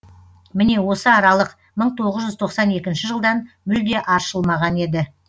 міне осы аралық мың тоғыз жүз тоқсан екінші жылдан мүлде аршылмаған еді